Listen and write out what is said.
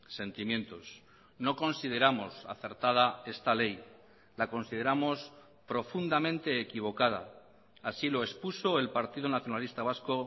sentimientos no consideramos acertada esta ley la consideramos profundamente equivocada así lo expuso el partido nacionalista vasco